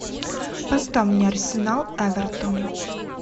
поставь мне арсенал эвертон